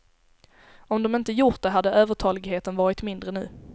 Om de inte gjort det hade övertaligheten varit mindre nu.